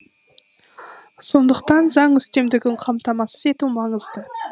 сондықтан заң үстемдігін қамтамасыз ету маңызды